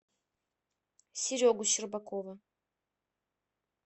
серегу щербакова